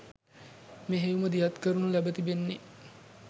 මෙහෙයුම දියත් කරනු ලැබ තිබෙන්නේ